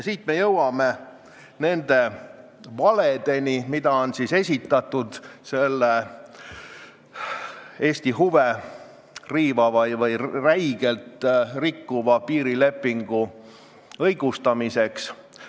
Siit me jõuame nende valedeni, mida on esitatud selle Eesti huve räigelt rikkuva piirilepingu õigustamiseks.